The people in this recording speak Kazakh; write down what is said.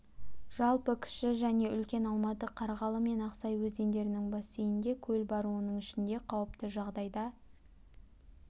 жалпы кіші және үлкен алматы қарғалы мен ақсай өзендерінің бассейнінде көл бар оның ішінде қауіпті жағдайда